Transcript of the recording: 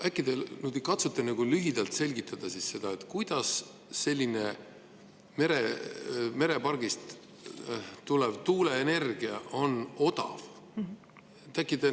Äkki te katsute lühidalt selgitada, kuidas selline merepargist tulev tuuleenergia on odav?